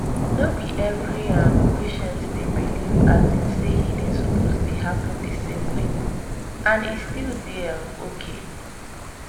no be every um patient dey believe um say healing suppose happen the same way—and e still dey um okay.